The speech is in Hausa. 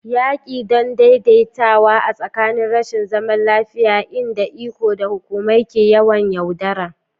Yaƙi don daidaitawa a tsakanin rashin zaman lafiya, inda iko da hukumai ke yawan yaudara.